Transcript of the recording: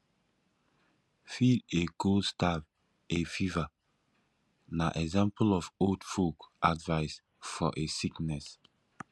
feed a cold starve a fever na example of old folk advice for a sickness